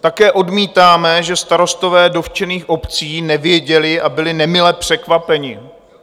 Také odmítáme, že starostové dotčených obcí nevěděli a byli nemile překvapeni.